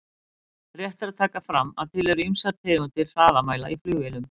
Rétt er að taka fram að til eru ýmsar tegundir hraðamæla í flugvélum.